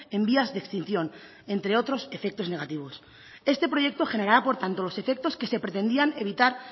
en vías de extinción entre otros efectos negativos este proyecto generará por tanto los efectos que se pretendían evitar